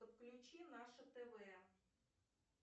подключи наше тв